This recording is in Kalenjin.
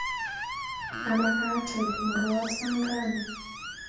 Amakat aip murwoot sang rani?